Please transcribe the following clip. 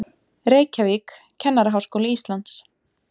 Reykjavík, Kennaraháskóli Íslands.